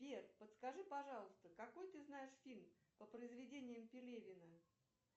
сбер подскажи пожалуйста какой ты знаешь фильм по произведениям пелевина